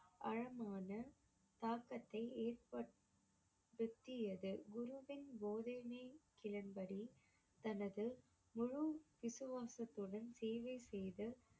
ஆழமான தாக்கத்தை ஏற்படுத்தியது குருவின் போதனைகளின்படி தனது முழு விசுவாசத்துடன் சேவை செய்து